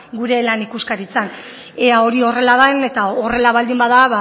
gure lan ikuskaritzan eta hori horrela den eta horrela baldin bada